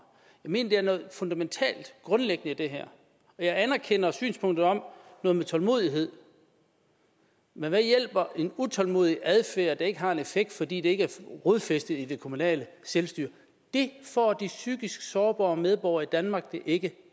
jeg mener er noget fundamentalt og grundlæggende i det her jeg anerkender synspunktet om tålmodighed men hvad hjælper en utålmodig adfærd der ikke har en effekt fordi den ikke er rodfæstet i det kommunale selvstyre det får de psykisk sårbare medborgere i danmark det ikke